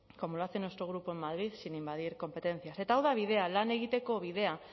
como lo hace en nuestro grupo en madrid sin invadir competencias eta hau da bidea lan egiteko bidea